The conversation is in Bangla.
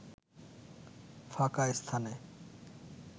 ফাঁকা স্থানে